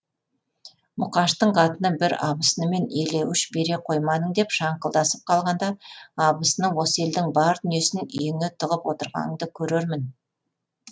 мұқаштың қатыны бір абысынымен елеуіш бере қоймадың деп шаңқылдасып қалғаңда абысыны осы елдің бар дүниесін үйіңе тығып отырғанынды көрермін